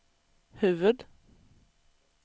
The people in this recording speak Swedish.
huvud